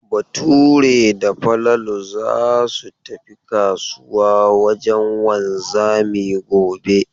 Bature da Falalu za su tafi kasuwa wajen wanzami gobe.